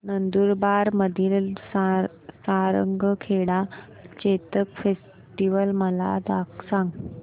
नंदुरबार मधील सारंगखेडा चेतक फेस्टीवल मला सांग